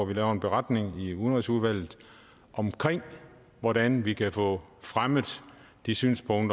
vi laver en beretning i udenrigsudvalget om hvordan vi kan få fremmet det synspunkt